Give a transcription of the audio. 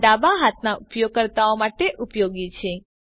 આ ડાબા હાથના ઉપયોગકર્તાઓ માટે ઉપયોગી છે